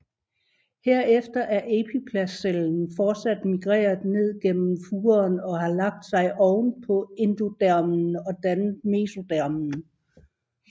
Herefter er epiplastcellen fortsat migreret ned gennem furen og har lagt sig oven på endodermen og dannet mesodermen